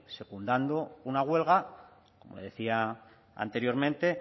secundado una huelga como le decía anteriormente